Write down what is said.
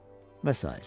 Və sair.